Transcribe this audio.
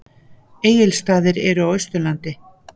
Egilsstaðir eru á Austurlandi.